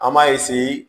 An b'a